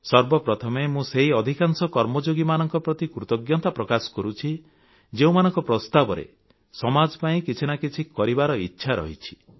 ସର୍ବପ୍ରଥମେ ମୁଁ ସେହି ଅଧିକାଂଶ କର୍ମଯୋଗୀମାନଙ୍କ ପ୍ରତି କୃତଜ୍ଞତା ପ୍ରକାଶ କରୁଛି ଯେଉଁମାନଙ୍କ ପ୍ରସ୍ତାବରେ ସମାଜ ପାଇଁ କିଛି ନା କିଛି କରିବାର ଇଚ୍ଛା ରହିଛି